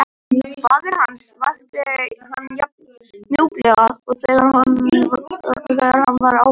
Faðir hans vakti hann jafn mjúklega og þegar hann var barn á Hólum.